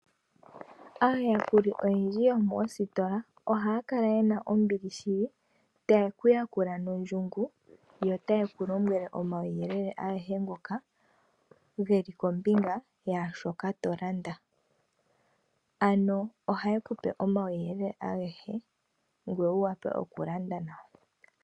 Aayakuli oyendji yomoositola ohaya kala yena ombili shili, taye ku yakula nondjungu, yo taye ku lombwele omauyelele agehe ngoka geli kombinga yashooka to landa. Ano ohaye ku pe omauyelele agehe, ngoye wu wape oku landa nawa.